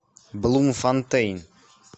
блумфонтейн